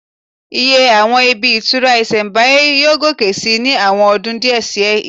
Iye àwọn ibi ìtura ìsẹ̀mbáyé yóò gòkè sí ní àwọn ọdún díẹ̀ sí ìsín